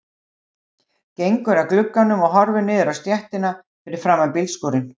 Gengur að glugganum og horfir niður á stéttina fyrir framan bílskúrinn.